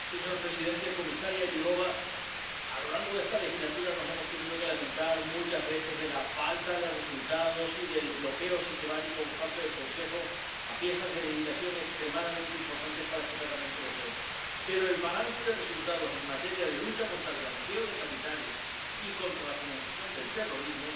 Señor presidente, comisaria Jourová, a lo largo de esta legislatura nos hemos tenido que lamentar muchas veces de la falta de resultados y del bloqueo sistemático por parte del Consejo a piezas de legislación extremadamente importantes para este Parlamento Europeo. Pero el balance de resultados en materia de lucha contra el blanqueo de capitales y contra la financiación del terrorismo